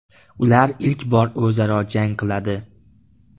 Ular ilk bor o‘zaro jang qiladi.